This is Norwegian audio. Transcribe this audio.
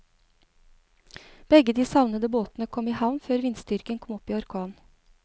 Begge de savnede båtene kom i havn før vindstyrken kom opp i orkan.